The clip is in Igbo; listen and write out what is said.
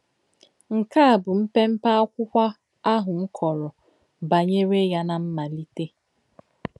Nké à bụ̀ m̀pèm̀pè ákwụ́kwọ̀ àhụ̀ m kọ̀rò bànyèrè yà n’ámàlítè.